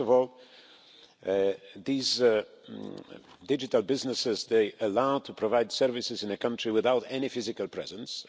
First of all, these digital businesses are allowed to provide services in the country without any physical presence.